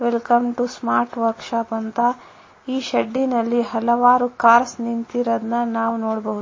Welcome to smart workshop ಅಂತ ಈ ಶೆಡ್ಡಿನಲ್ಲಿ ಹಲವಾರು ಕಾರ್ಸ್ ನಿಂತಿರೋದ್ನ್ ನಾವ್ ನೋಡಬಹುದು.